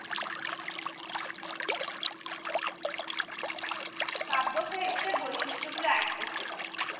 কাব্যসাহিত্যের বৈশিষ্ঠ্য গুলো add করতে পারিস